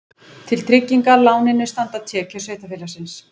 Til tryggingar láninu standa tekjur sveitarfélagsins